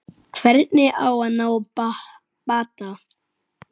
Hvernig á að ná bata?